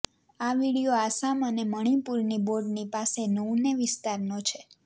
આ વીડિયો આસામ અને મણિપૂરની બોર્ડની પાસે નૌને વિસ્તારનો છે